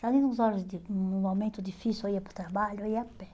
Sabe nas horas de, no momento difícil, eu ia para o trabalho, eu ia a pé.